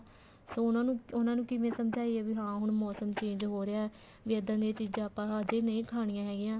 ਫ਼ੇਰ ਉਹਨਾ ਉਹਨਾ ਨੂੰ ਕਿਵੇਂ ਸਮਝਾਈਏ ਵੀ ਹਾਂ ਹੁਣ ਮੋਸਮ change ਹੋ ਰਿਹਾ ਵੀ ਇੱਦਾਂ ਦੀਆਂ ਚੀਜ਼ਾਂ ਫ਼ੇਰ ਆਪਾਂ ਨਹੀਂ ਖਾਣੀਆਂ ਹੈਗੀਆਂ